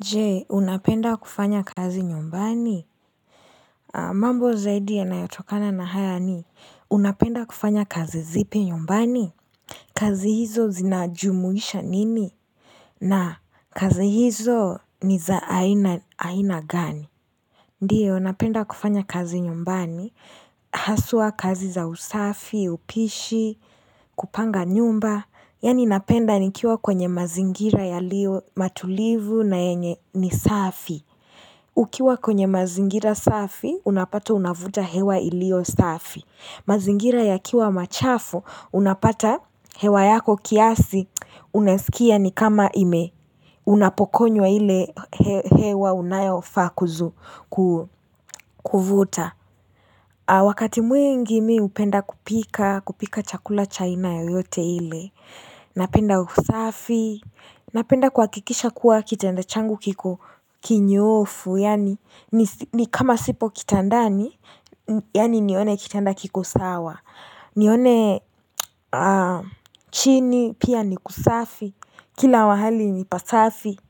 Je, unapenda kufanya kazi nyumbani? Mambo zaidi ya nayotokana na haya ni, unapenda kufanya kazi zipi nyumbani? Kazi hizo zinajumuisha nini? Na, kazi hizo ni za aina gani? Ndio, napenda kufanya kazi nyumbani, haswa kazi za usafi, upishi, kupanga nyumba, yani napenda nikiwa kwenye mazingira ya lio matulivu na yenye nisafi. Ukiwa kwenye mazingira safi, unapata unavuta hewa ilio safi. Mazingira ya kiwa machafu, unapata hewa yako kiasi, unasikia ni kama ime. Unapokunywa ile hewa unayofakuzu kuvuta. Wakati mwingi mi hupenda kupika, kupika chakula chaina yoyote ile. Napenda usafi, napenda kuhakikisha kuwa kitanda changu kiko kinyofu. Yani ni kama sipo kitandani Yani nione kitanda kikosawa nione chini pia ni kusafi Kila mahali ni pasafi